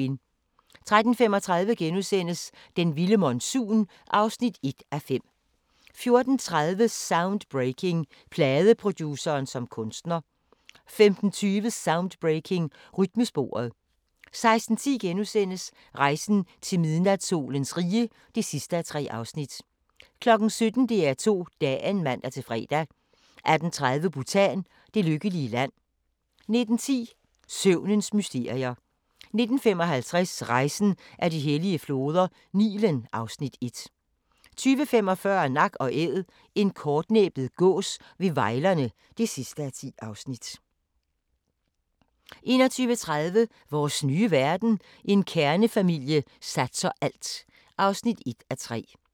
13:35: Den vilde monsun (1:5)* 14:30: Soundbreaking – Pladeproduceren som kunstner 15:20: Soundbreaking – Rytmesporet 16:10: Rejsen til midnatssolens rige (3:3)* 17:00: DR2 Dagen (man-fre) 18:30: Bhutan: Det lykkelige land 19:10: Søvnens mysterier 19:55: Rejsen ad de hellige floder - Nilen (Afs. 1) 20:45: Nak & Æd – en kortnæbbet gås ved Vejlerne (10:10) 21:30: Vores nye verden – en kernefamilie satser alt (1:3)